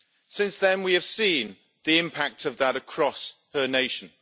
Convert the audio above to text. Since then, we have seen the impact of that across her nation.